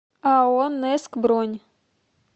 ао нэск бронь